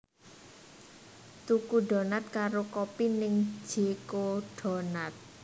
Tuku donat karo kopi ning J Co Donuts